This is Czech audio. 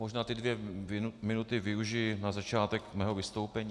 Možná ty dvě minuty využiji na začátek svého vystoupení.